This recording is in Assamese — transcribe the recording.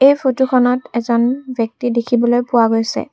এই ফটোখনত এজন ব্যক্তি দেখিবলৈ পোৱা গৈছে।